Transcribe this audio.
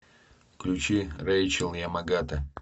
включи рэйчел ямагата